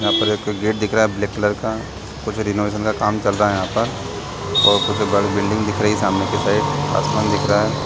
यहाँ पर एक गेट दिख रहा है ब्लैक कलर का कुछ रेमिशन काम चल रहा है यहाँ पे और कुछ बड़े बिल्डिंग दिख रही है सामने के साइड आसमान दिख रहा है।